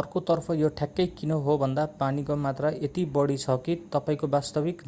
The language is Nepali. अर्कोतर्फ यो ठ्याक्कै किन होभन्दा पानीको मात्रा यति बढी छ कि तपाईंको वास्तविक